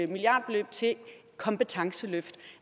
milliardbeløb til kompetenceløft af